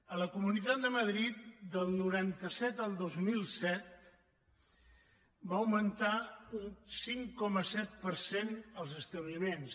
a la comunitat de madrid del noranta set al dos mil set van augmentar un cinc coma set per cent els establiments